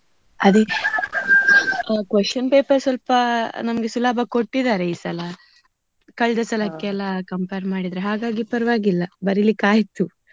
ಅದೇ question paper ಸ್ವಲ್ಪ ನಮ್ಗೆ ಸುಲಭ ಕೊಟ್ಟಿದಾರೆ ಈ ಸಲ. ಕಳ್ದಸಲಕ್ಕೆಲ್ಲ compare ಮಾಡಿದ್ರೆ ಹಾಗಾಗಿ ಪರ್ವಾಗಿಲ್ಲ ಬರೀಲಿಕ್ಕೆ ಆಯ್ತು.